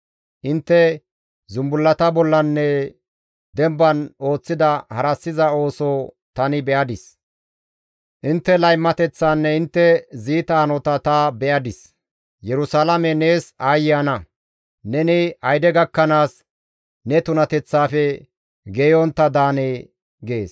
Intte zumbullata bollanne demban ooththida harassiza ooso tani be7adis; intte laymateththanne intte ziita hanota ta be7adis; Yerusalaame nees aayye ana! Neni ayde gakkanaas ne tunateththaafe geeyontta daanee?» gees.